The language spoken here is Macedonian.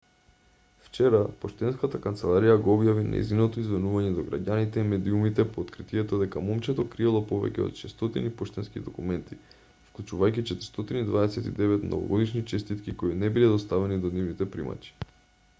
вчера поштенската канцеларија го објави нејзиното извинување до граѓаните и медиумите по откритието дека момчето криело повеќе од 600 поштенски документи вклучувајќи 429 новогодишни честитки кои не биле доставени до нивните примачи